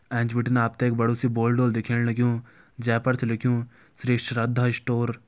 एंच बिटिन आप त एक बड़ू सी बोर्ड होलु दिखेण लग्युं जै पर लिख्युं श्री श्रद्धा स्टोर ।